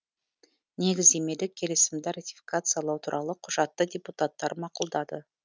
негіздемелік келісімді ратификациялау туралы құжатты депутаттар мақұлдады